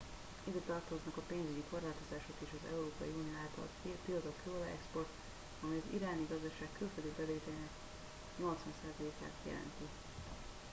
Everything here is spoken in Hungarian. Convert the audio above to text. ide tartoznak a pénzügyi korlátozások és az európai unió által tiltott kőolaj-export amely az iráni gazdaság külföldi bevételeinek 80%-át jelenti